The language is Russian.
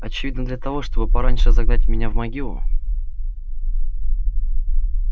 очевидно для того чтобы пораньше загнать меня в могилу